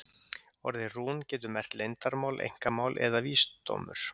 Orðið rún getur merkt leyndarmál, einkamál eða vísdómur.